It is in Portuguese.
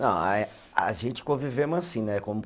Não aí, a gente conviveu assim, né?